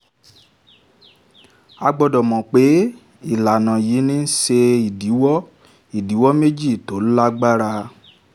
a gbọ́dọ̀ mọ̀ pé ìlànà yìí ń ṣe ìdíwọ́ ìdíwọ́ méjì tó lágbára.